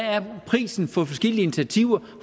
prisen er for forskellige initiativer